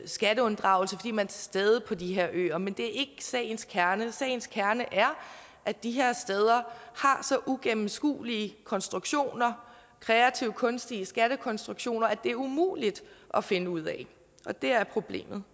skatteunddragelse fordi man stede på de her øer men det er sagens kerne sagens kerne er at de her steder har så ugennemskuelige konstruktioner kreative kunstige skattekonstruktioner at det er umuligt at finde ud af og det er problemet